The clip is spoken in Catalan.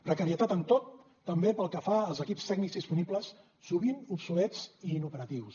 precarietat en tot també pel que fa als equips tècnics disponibles sovint obsolets i inoperatius